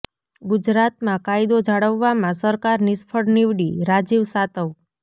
ગુજરાતમાં કાયદો જાળવવામાં સરકાર નિષ્ફળ નિવડી ઃ રાજીવ સાતવ